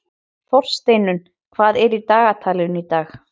Þórsteinunn, hvað er í dagatalinu í dag?